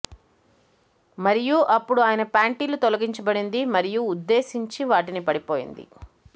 మరియు అప్పుడు ఆయన ప్యాంటీలు తొలగించబడింది మరియు ఉద్దేశించి వాటిని పడిపోయింది